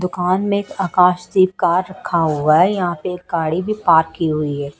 दुकान में ये आकाश सी कार रखा हुआ है यहां पे गाड़ी भी पार्क की हुई है।